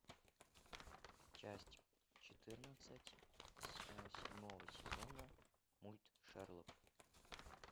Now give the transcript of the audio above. часть четырнадцать седьмого сезона мульт шерлок